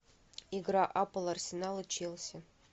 игра апл арсенал и челси